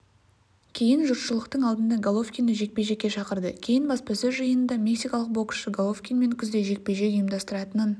кейін жұртшылықтың алдында головкинді жекпе-жекке шақырды кейін баспасөз жиынында мексикалық боксшы головкинмен күзде жекпе-жек ұйымдастыратынын